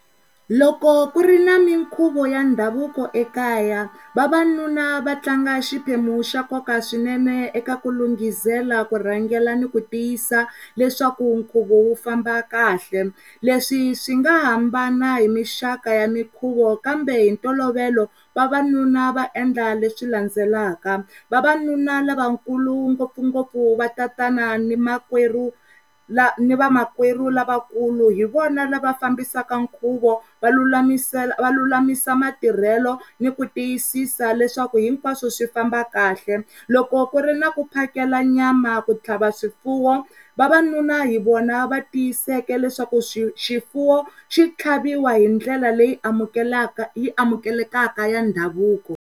Loko ku ri ni minkhuvo ya ndhavuko ekaya vavanuna va tlanga xiphemu xa nkoka swinene ekaku lunghisela, kurhangela ni ku tiyisa leswaku nkhuvo wu famba kahle leswi swi nga hambana hi mixaka ya mikhuvo kambe hi ntolovelo vavanuna va endla leswi landzelaka, vavanuna lavakulu ngopfu ngoppfu va tatana ni makwerhu, ni va makwerhu lavakulu hi vona lava fambisaka khuvo vululamise, va vululamisela matirhelo ni ku tiyisisa leswaku hinkwaswo swi famba kahle loko ku ri ku mphakelo nyama ku tlhava swifuwo vavanuna hi vona va tiyiseka leswaku swifuwo xi tlhaviwa hi ndlela leyi amukeleka leyi amukelekaka ya ndhavuko